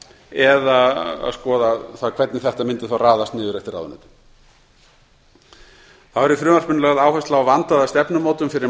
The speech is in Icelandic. eða að skoða hvernig þetta mundi þá raðast niður eftir ráðuneytum þá er í frumvarpinu lögð áhersla á vandaða stefnumótun fyrir